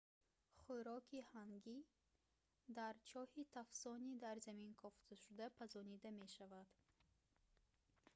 хӯроки ҳангӣ дар чоҳи тафсони дар замин кофташуда пазонида мешавад